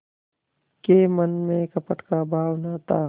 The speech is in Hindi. के मन में कपट का भाव न था